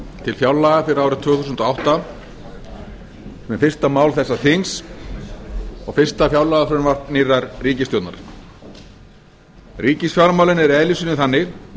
til fjárlaga fyrir árið tvö þúsund og átta sem er fyrsta mál þessa þings og fyrsta fjárlagafrumvarp nýrrar ríkisstjórnar ríkisfjármálin eru í eðli sínu þannig